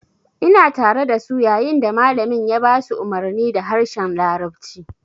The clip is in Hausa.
Ina tare dasu yayin da malamin ya ba su umarni da harshen larabci